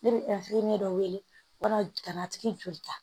Ne bɛ dɔ wele walasa ka na tigi joli ta